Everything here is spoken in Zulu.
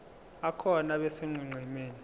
akhona abe sonqenqemeni